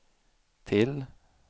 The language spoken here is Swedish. till